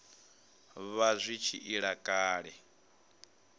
vha zwi tshi ila kale